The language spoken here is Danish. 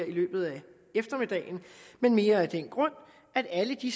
i løbet af eftermiddagen men mere af den grund at alle de